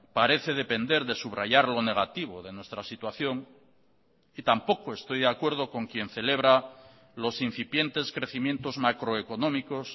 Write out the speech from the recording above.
parece depender de subrayar lo negativo de nuestra situación y tampoco estoy de acuerdo con quien celebra los incipientes crecimientos macroeconómicos